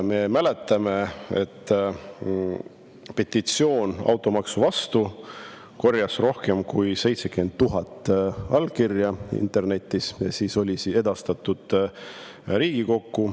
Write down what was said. Me mäletame, et petitsioon automaksu vastu korjas internetis rohkem kui 70 000 allkirja ja edastati siis Riigikokku.